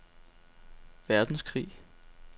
verdenskrig